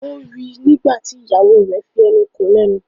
O rí ní nígbàtí ìyàwó rẹ fí enú kò lénu.